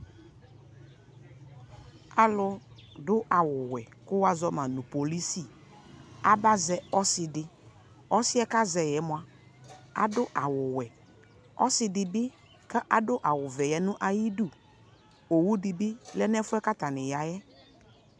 Alu do awuwɛ ko wa zɔ ma no polisi aba zɛ ɔse deƆsiɛ ka zɛ yɛ moa ado awuwɛƆse de be kado awuvɛ ya no ayiduOwu de be lɛ nɛfuɛ ka atane yaɛ